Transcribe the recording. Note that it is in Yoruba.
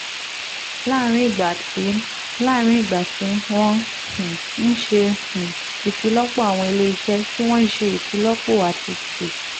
láàárín ìgbà tí láàárín ìgbà tí wọ́n um ń ṣe um ìfilọ́pọ̀ àwọn iléeṣẹ́ tí wọ́n ń ṣe ìfilọ́pọ̀ àti tí